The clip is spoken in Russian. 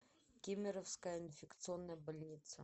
кемеровская инфекционная больница